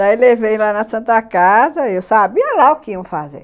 Daí eu levei lá na Santa Casa e eu sabia lá o que iam fazer.